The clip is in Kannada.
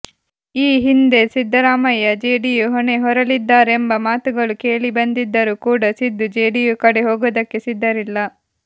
ಈ ಹಿಂದೆ ಸಿದ್ದರಾಮಯ್ಯ ಜೆಡಿಯು ಹೊಣೆ ಹೊರಲಿದ್ದಾರೆಂಬ ಮಾತುಗಳು ಕೇಳಿಬಂದಿದ್ದರೂ ಕೂಡ ಸಿದ್ದು ಜೆಡಿಯು ಕಡೆ ಹೋಗೋದಕ್ಕೆ ಸಿದ್ದರಿಲ್ಲ